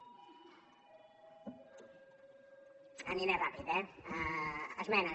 aniré ràpid eh esmenes